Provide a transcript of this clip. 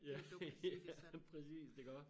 Ja ja præcist iggå